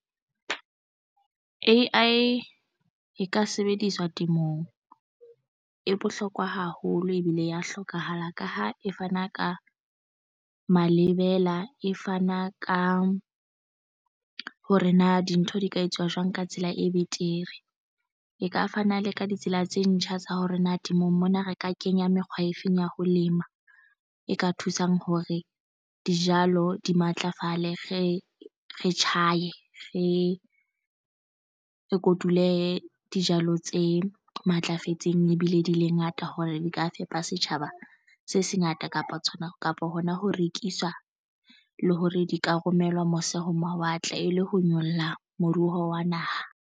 A_I e ka sebediswa temong e bohlokwa haholo ebile ya hlokahala ka ha e fana ka malebela e fana ka hore na dintho di ka etsuwa jwang ka tsela e betere. E ka fana le ka ditsela tse ntjha tsa hore na temong mona re ka kenya mekgwa e feng ya ho lema e ka thusang hore dijalo di matlafale? Re tjhaye re e kotule dijalo tse matlafetseng ebile di le ngata hore di ka fepa setjhaba se se ngata kapa tshwanang kapo hona ho rekiswa le hore di ka romelwa mose ho mawatle e le ho nyolla moruo wa naha.